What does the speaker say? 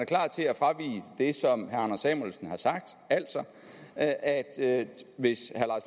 klar til at fravige det som herre anders samuelsen har sagt altså at at hvis herre